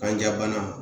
Kanja bana